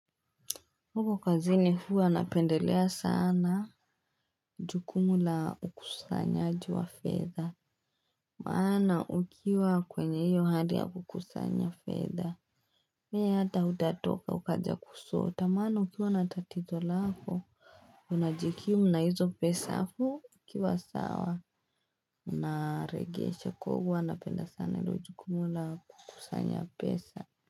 Huko kazi ni huu anapendelea sana. Jukumu la ukusanya aji wa fedha. Maana ukiwa kwenye hiyo hadia kukusanya feather. Mea hata utatoka ukaja kusota maana ukiwa natatizo lako. Unajikiu mna hizo pesa hafu ukiwa sawa. Unaregeshe kwa hivo anapenda sana ilo jukumu la ukusanya pesa.